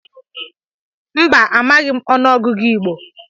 Mba, amaghị m ọnụ ọgụgụ Igbo.